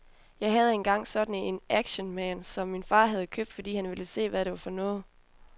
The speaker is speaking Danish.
Jeg havde engang sådan en actionman, som min far havde købt, fordi han ville se, hvad det var for noget.